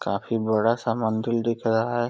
काफी बड़ा सा मंदिल दिख रहा है।